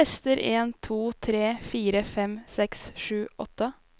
Tester en to tre fire fem seks sju åtte